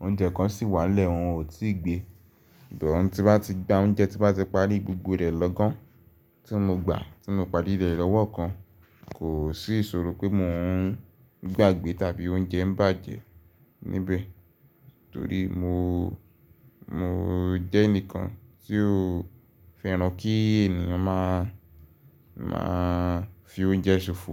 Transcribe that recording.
oúnjẹ kan sì wà lẹ́hìn òun ó ti gbé. Tí bá ti gba oúnjẹ tí bá ti parí gbogbo rẹ̀ lọ́gán, tí mo gbà á tí mo parí rẹ̀ lọ́wọ́ kan kò sì iṣòro pé mo ń gbàgbẹ́ tàbí oúnjẹ ń bàjẹ́ níbẹ̀. Torí mo, mo jẹ́ ẹnìkan tí ó fẹ́ràn kí ènìyàn má a má a fi oúnjẹ ṣòfò.